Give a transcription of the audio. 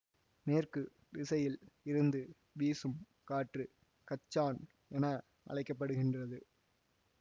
மேற்கு திசையில் இருந்து வீசும் காற்று கச்சான் என அழைக்க படுகின்றது